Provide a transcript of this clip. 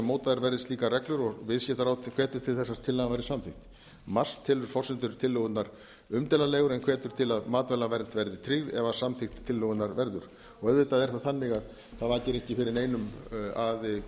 mótaðar verði slíkar reglur og viðskiptaráðuneytið hvetur til þess að tillagan verði samþykkt xxx telur forsendur tillögunnar umdeilanlegar en hvetur til að matvælaverð verði tryggð ef af samþykkt tillögunnar verður auðvitað er það þannig að það vakir ekki fyrir neinum að